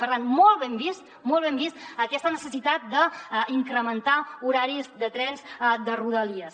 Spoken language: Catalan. per tant molt ben vista molt ben vista aquesta necessitat d’incrementar horaris de trens de rodalies